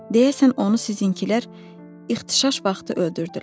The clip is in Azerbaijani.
Deyəsən onu sizinkilər ixtişaş vaxtı öldürdülər.